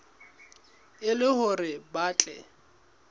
e le hore ba tle